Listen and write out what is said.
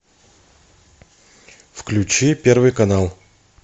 включи первый канал